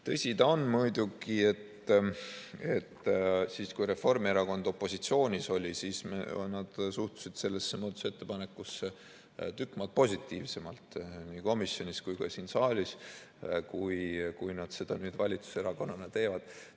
Tõsi ta on, et siis, kui Reformierakond opositsioonis oli, nad suhtusid sellesse muudatusettepanekusse tükk maad positiivsemalt, nii komisjonis kui ka siin saalis, kui nad seda nüüd valitsuserakonnana teevad.